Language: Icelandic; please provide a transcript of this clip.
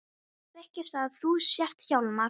Ég þykist vita að þú sért Hjálmar.